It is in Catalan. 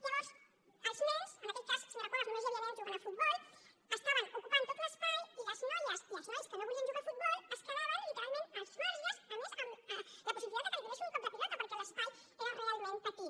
llavors els nens en aquell cas senyora cuevas només hi havia nens jugant a futbol ocupaven tot l’espai i les noies i els nois que no volien jugar a futbol quedaven literalment als marges a més amb la possibilitat que els donessin un cop de pilota perquè l’espai era realment petit